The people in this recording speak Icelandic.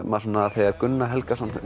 þegar Gunnar Helgason